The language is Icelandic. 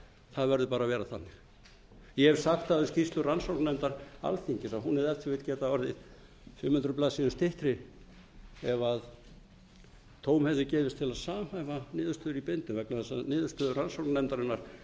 það verður bara að vera þannig ég hef sagt um skýrslu rannsóknarnefndar alþingis að hún hefði ef til vill getað orðið fimm hundruð blaðsíður styttri ef tóm hefði gefist til að samhæfa niðurstöður í bindum vegna þess að niðurstöður rannsóknarnefndarinnar